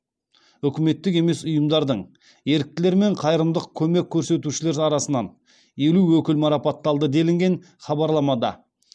үкіметтік емес ұйымдардың еріктілер мен қайырымдық көмек көрсетушілер арасынан елу өкіл марапатталды делінген хабарламада